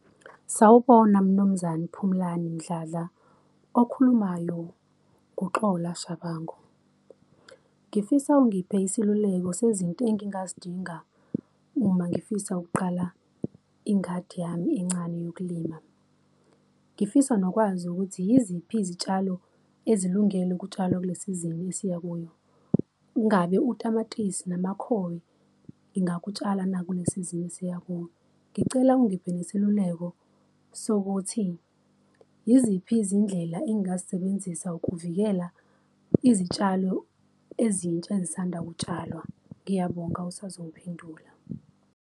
Sawubona, Mnumzane Phumlane Mdladla, okhulumayo nguXola Shabangu. Ngifisa ungiphe isiluleko sezinto engingazidinga uma ngifisa ukuqala ingadi yami encane yokulima. Ngifisa nokwazi ukuthi yiziphi izitshalo ezilungele ukutshalwa kule sizini esiya kuyo. Ingabe utamatisi namakhowe ngingakutshala na, kule sizini esiya kuwo? Ngicela ungiphe neseluleko sokuthi yiziphi izindlela engingazisebenzisa ukuvikela izitshalo ezintsha ezisanda kutshalwa. Ngiyabonga usazongiphendula.